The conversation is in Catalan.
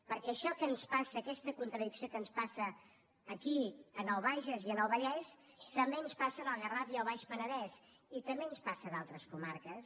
perquè això que ens passa aquesta contradicció que ens passa aquí en el bages i en el vallès també ens passa en el garraf i el baix penedès i també ens passa en altres comarques